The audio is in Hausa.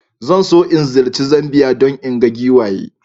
Zan so in ziyarci Zambiya don in ga giwaye.